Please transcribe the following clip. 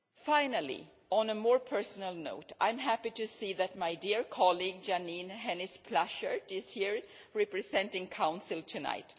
Finally, on a more personal note, I am happy to see that my dear colleague, Jeanine Hennis Plasschaert, is here representing the Council tonight.